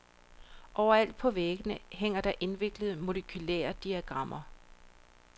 Overalt på væggene hænger der indviklede molekylære diagrammer.